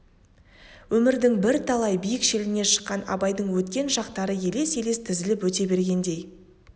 өмірдің бірталай биік беліне шыққан абайдың өткен шақтары елес-елес тізіліп өте бергендей